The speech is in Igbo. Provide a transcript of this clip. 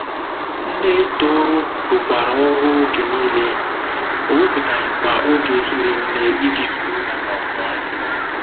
Nne Tohru rụkwara ọrụ oge nile, o wepụtaghịkwa oge hiri nne iji soro ya nọkọọ.